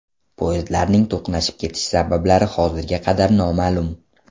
Poyezdlarning to‘qnashib ketishi sabablari hozirga qadar noma’lum.